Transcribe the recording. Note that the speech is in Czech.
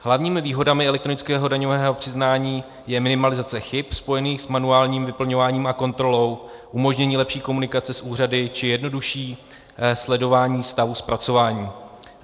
Hlavními výhodami elektronického daňového přiznání je minimalizace chyb spojených s manuálním vyplňováním a kontrolou, umožnění lepší komunikace s úřady či jednodušší sledování stavu zpracování.